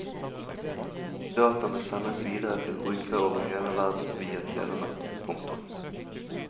Dataene sendes videre til brukere over hele verden via telenettet. punktum